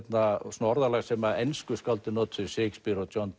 svona orðalag sem ensku skáldin notuðu Shakespeare og John